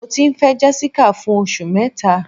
Mọ ti n fẹ Jessica fún ọṣù mẹta